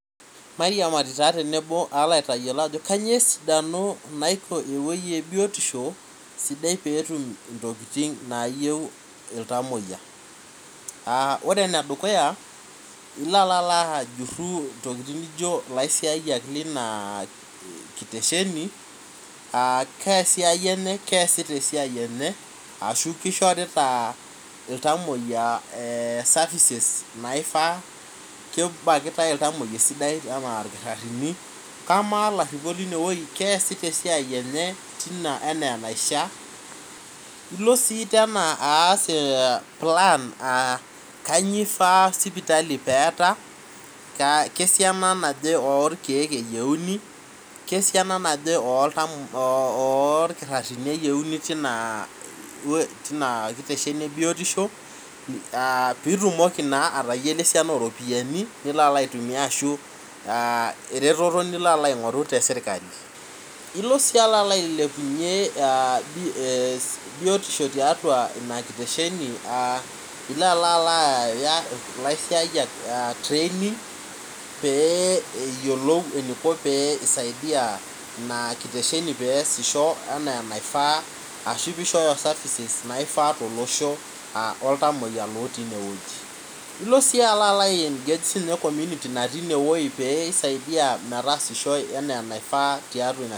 Mairiamari taa tenebo aalo aitayiolo ajo kanyio esidano naiko ewuei e biotisho sidai peetum intokiting naayieu iltamoyia uh ore enedukuya ilo alo ajurru intokiting nijio ilaisiayiak lina kitesheni uh kaa siai enye uh keesita esiai enye ashu kishorita iltamoyia eh services naifaa kebakitae iltamoyia esidae anaa irkitarrini kamaa ilaprripok linewuei keesita esiai enye tina enaa enaishia ilo sii tena aas eh plan uh kanyio ifaa sipitali peeta kaa kesiana naje orkeek eyieuni kesiana naje oltam kesiana naje olkirrarini eyieuni tina tina kitesheni ebiotisho uh pitumoki naa atayiolo esiana oropiyiani nilo alo aitumia ashu uh eretoto nilo alo aing'oru te sirkali ilo sii alo alo ailepunyie uh bi eh biotisho tiatua ina kitesheni uh ilo alo aaya ilaisiayiak uh training pee eyiolou eniko pee isaidia ina kitesheni peesisho enaa enaifaa ashu pishooyo services naifaa tolosho uh oltamoyia lotii inewueji ilo sii alo alo ae engage siinye commuity natii inewoi pee isaidia metaasishoe enaa anaifaa tiatua ina.